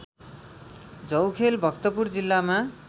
झौखेल भक्तपुर जिल्लामा